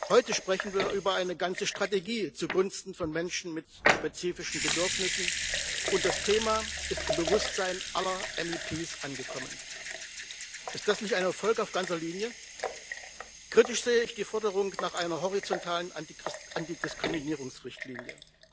Heute sprechen wir über eine ganze Strategie zugunsten von Menschen mit spezifischen Bedürfnissen, und das Thema ist im Bewusstsein aller MdEP angekommen. Ist das nicht ein Erfolg auf ganzer Linie? Kritisch sehe ich die Forderung nach einer horizontalen Antidiskriminierungsrichtlinie.